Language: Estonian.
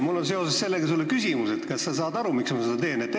Mul on seoses sellega sulle küsimus: kas sa saad aru, miks ma seda teen?